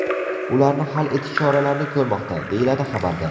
Ularni hal etish choralarini ko‘rmoqda”, deyiladi xabarda.